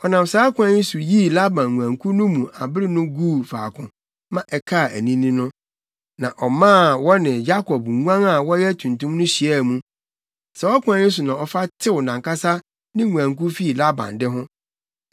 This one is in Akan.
Ɔnam saa kwan yi so yii Laban nguankuw no mu abere no guu faako ma ɛkaa anini no. Na ɔmaa wɔne Yakob nguan a wɔyɛ tuntum no hyiaa mu. Saa ɔkwan yi so na ɔfa tew nʼankasa ne nguankuw fii Laban de ho.